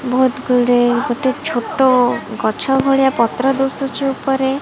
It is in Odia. ବହୁତ ଗୁଡେ ଗୋଟେ ଛୋଟ ଗଛ ଭଳିଆ ପତ୍ର ଦୁଶୁଛୁ ଉପରେ --